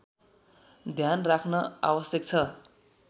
ध्यान राख्न आवश्यक छ